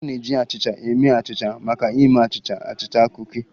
A na-eji achịcha eme achịcha maka ịme achịcha, achịcha, kuki